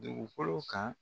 Dugukolo kan.